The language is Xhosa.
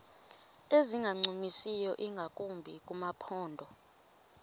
ezingancumisiyo ingakumbi kumaphondo